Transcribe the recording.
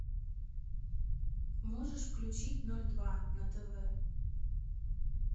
можешь включить ноль два на тв